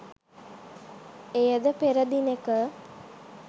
එයද පෙර දිනෙක